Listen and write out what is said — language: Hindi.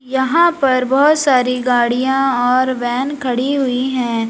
यहां पर बहुत सारी गाड़ियां और वैन खड़ी हुई हैं।